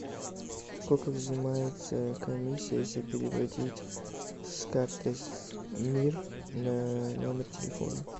сколько взимается комиссия если переводить с карты мир на номер телефона